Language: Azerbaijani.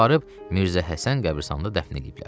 Aparıb Mirzəhəsən qəbiristanında dəfn eləyiblər.